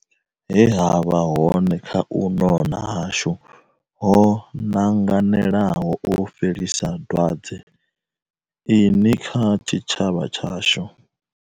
He ha vha hone kha u nona hashu ho nanganelaho u fhelisa dwa dze ini kha tshi tshavha tshashu.